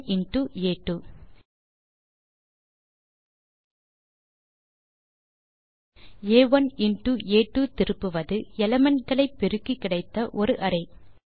ஆ1 இன்டோ ஆ2 ஆ1 இன்டோ ஆ2 திருப்புவது எலிமெண்ட் களை பெருக்கி கிடைத்த ஒரு அரே